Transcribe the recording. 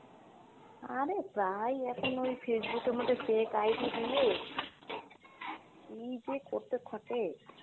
আরে প্রায় এখন ওই Facebook এর মধ্যে fake ID দিয়ে কী যে করতে থাকে,